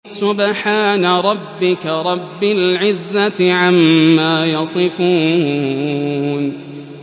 سُبْحَانَ رَبِّكَ رَبِّ الْعِزَّةِ عَمَّا يَصِفُونَ